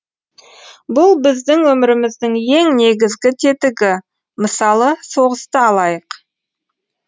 бұл біздің өміріміздің ең негізгі тетігі мысалы соғысты алайық